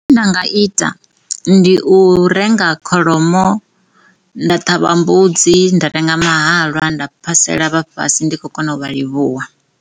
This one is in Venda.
Zwine nda nga ita ndi u renga kholomo, nda ṱhavha mbudzi nda renga mahalwa nda phasela vhafhasi ndi kho kona u vha livhuwa.